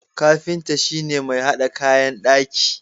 Kafinta shi ne mai hada kayan daki.